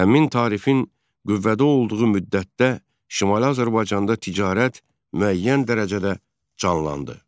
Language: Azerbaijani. Həmin tarifin qüvvədə olduğu müddətdə Şimali Azərbaycanda ticarət müəyyən dərəcədə canlandı.